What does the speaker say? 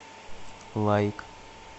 лайк